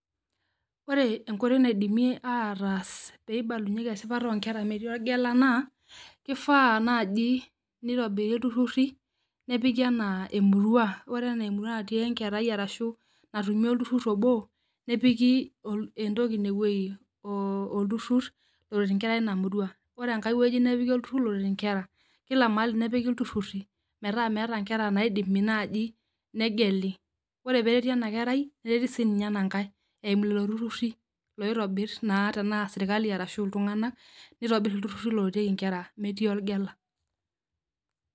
Ore enkoitoi naidimi ataas peibalunyeki esipata onkera metii orgela naa, kifaa naji nitobiri ilturrurri nepiki enaa emurua. Ore enaa emurua natii enkerai arashu natumi olturrur obo, nepiki entoki inewei, olturrur oret inkera ina murua. Ore enkae woi nepiki olturrur loret inkera, kila mahali nepiki ilturrurri metaa meeta nkera naidimi naji negeli. Ore pereti enakerai, nereti sinye enankae eimu lelo turrurri loitobir naa tenaa serkali arashu iltung'anak, nitobir ilturrurri loret inkera metii orgela.